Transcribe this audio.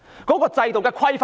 現行制度有何規範呢？